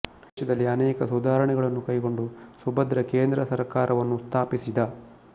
ದೇಶದಲ್ಲಿ ಅನೇಕ ಸುಧಾರಣೆಗಳನ್ನು ಕೈಕೊಂಡು ಸುಭದ್ರ ಕೇಂದ್ರ ಸರ್ಕಾರವನ್ನು ಸ್ಥಾಪಿಸಿದ